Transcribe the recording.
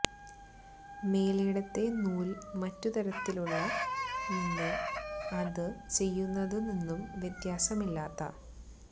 മേലേടത്തെ നൂൽ മറ്റു തരത്തിലുള്ള നിന്ന് അത് ചെയ്യുന്നത് നിന്നും വ്യത്യാസമില്ലാത്ത